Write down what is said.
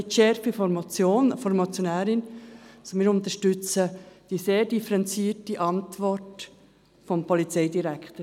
Nicht die Schärfte der Motion und der Motionärin unterstützen wir, sondern die sehr differenzierte Antwort des Polizeidirektors.